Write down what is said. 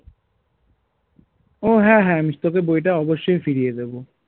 ও হ্যাঁ হ্যাঁ আমি তোকে বই টা অবশ্যই ফিরিয়ে দেব